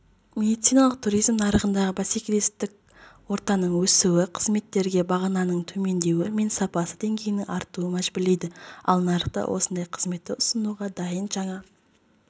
медициналық туризм нарығындағы бәсекелестік ортаның өсуі қызметтерге бағаның төмендеуі мен сапа деңгейінің артуын мәжбүрлейді ал нарықта осындай қызметті ұсынуға дайын жаңа